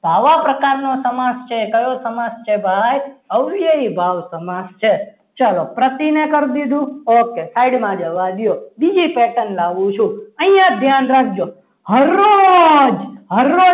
તો આવા પ્રકારનો સમાસ છે કયો સમાસ છે ભાઈ હવે ભાવ સમાસ છે ચાલો પ્રતિને કરી દીધું okay side માં જવા દો. બીજી pattern લાવું છું. અહીંયા ધ્યાન રાખજો હરરોજ